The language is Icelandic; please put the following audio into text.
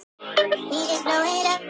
Beið mín.